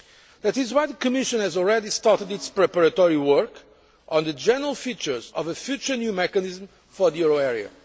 That is why the Commission has already started its preparatory work on the general features of a future new mechanism for the euro area.